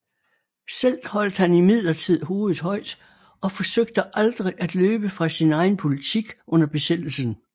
Selv holdt han imidlertid hovedet højt og forsøgte aldrig at løbe fra sin egen politik under besættelsen